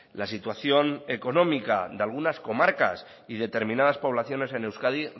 la situación económica de algunas comarcas y determinadas poblaciones en euskadi